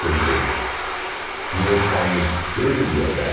Quer dizer, me cansei de viajar.